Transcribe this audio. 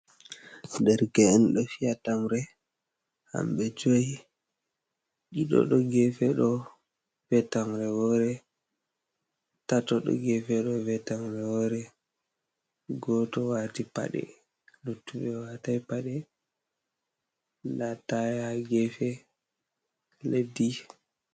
Derke’en do fia tamre hamɓe joyi ɗiɗiɗo gefe do fiya tamre, wore tatodo gefe do fiya tamre wore goto wati pade luttube watai pade da atayha ha gefe leɗɗi.